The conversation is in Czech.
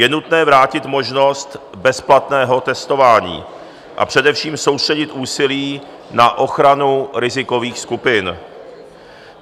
Je nutné vrátit možnost bezplatného testování, a především soustředit úsilí na ochranu rizikových skupin.